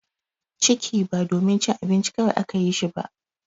Ciki ba domin cin abinci kawai aka yi shi ba.